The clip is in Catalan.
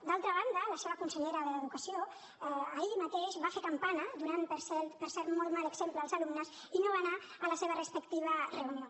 d’altra banda la seva consellera d’educació ahir mateix va fer campana donant per cert molt mal exemple als alumnes i no va anar a la seva respectiva reunió